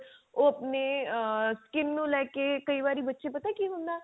ਉਹ ਆਪਣੇ ਆ skin ਨੂੰ ਲੈ ਕੇ ਕਈ ਵਾਰੀ ਬੱਚੇ ਪਤਾ ਕੀ ਹੁੰਦਾ